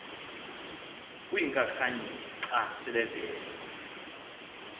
kuyikhankanyaee xa selevela